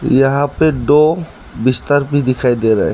यहां पे दो बिस्तर भी दिखाई दे रहे हैं।